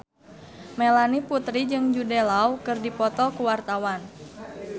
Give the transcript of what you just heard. Melanie Putri jeung Jude Law keur dipoto ku wartawan